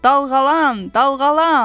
Dalğalan, dalğalan.